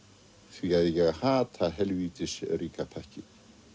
því að ég hata helvítis ríka pakkið